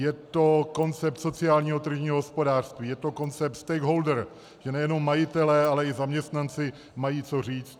Je to koncept sociálně tržního hospodářství, je to koncept stakeholder, že nejenom majitelé, ale i zaměstnanci mají co říct.